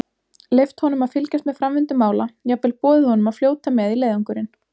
Leyft honum að fylgjast með framvindu mála, jafnvel boðið honum að fljóta með í leiðangurinn.